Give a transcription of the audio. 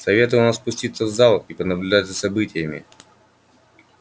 советую вам спуститься в зал и понаблюдать за событиями